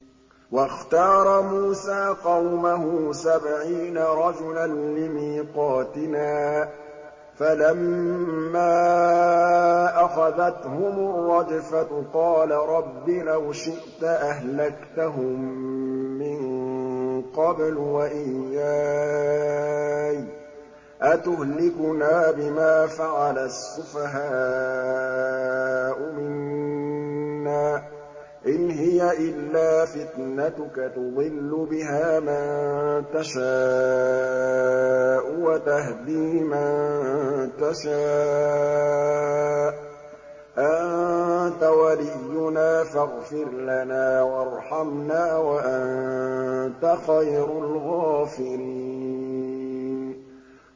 وَاخْتَارَ مُوسَىٰ قَوْمَهُ سَبْعِينَ رَجُلًا لِّمِيقَاتِنَا ۖ فَلَمَّا أَخَذَتْهُمُ الرَّجْفَةُ قَالَ رَبِّ لَوْ شِئْتَ أَهْلَكْتَهُم مِّن قَبْلُ وَإِيَّايَ ۖ أَتُهْلِكُنَا بِمَا فَعَلَ السُّفَهَاءُ مِنَّا ۖ إِنْ هِيَ إِلَّا فِتْنَتُكَ تُضِلُّ بِهَا مَن تَشَاءُ وَتَهْدِي مَن تَشَاءُ ۖ أَنتَ وَلِيُّنَا فَاغْفِرْ لَنَا وَارْحَمْنَا ۖ وَأَنتَ خَيْرُ الْغَافِرِينَ